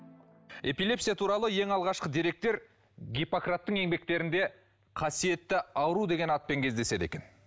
эпилепсия туралы ең алғашқы деректер гиппократтың еңбектерінде қасиетті ауру деген атпен кездеседі екен